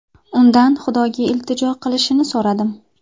Undan Xudoga iltijo qilishini so‘radim.